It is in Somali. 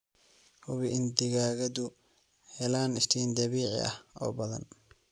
Hubi in digaagadu helaan iftiin dabiici ah oo badan.